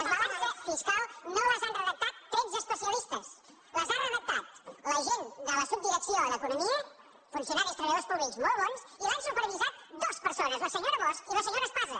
les balances fiscals no les han redactat tretze especia·listes les han redactat la gent de la subdirecció d’eco·nomia funcionaris treballadors públics molt bons i l’han supervisat dues persones la senyora bosch i la senyora espasa